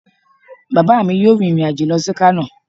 Baba mí yọọ rin irín ajo lọ si Kano.